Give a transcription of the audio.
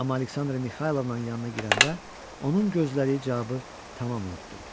Amma Aleksandra Mixaylovnanın yanına girəndə onun gözlədiyi cavabı tamam unutdum.